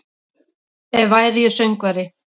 Ef væri ég söngvari